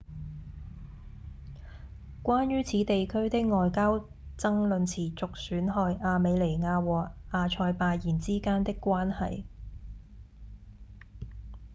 關於此地區的外交爭論持續損害亞美尼亞和亞塞拜然之間的關係